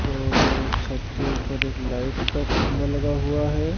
और छत के ऊपर एक लाइट का खंबा लगा हुआ है।